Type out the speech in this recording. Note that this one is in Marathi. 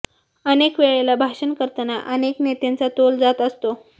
अनेक वेळेला भाषण करताना अनेक नेत्यांचा तोल जात असतो